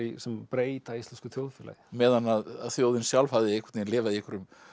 sem breyta íslensku þjóðfélagi meðan að þjóðin sjálf hafði einhvern veginn lifað í einhverjum